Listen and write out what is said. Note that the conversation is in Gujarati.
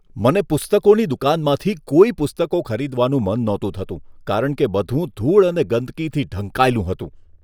મને પુસ્તકોની દુકાનમાંથી કોઈ પુસ્તકો ખરીદવાનું મન નહોતું થતું કારણ કે બધું ધૂળ અને ગંદકીથી ઢંકાયેલું હતું.